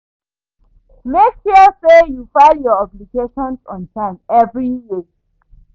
Mek sure say yu file yur obligations on time evri year